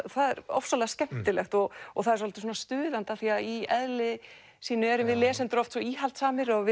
það er ofsalega skemmtilegt og það er svolítið stuðandi af því að í eðli sínu erum við lesendur oft svo íhaldssamir og